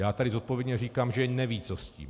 Já tady zodpovědně říkám, že nevědí co s tím.